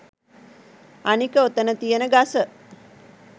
අනික ඔතන තියෙන ගස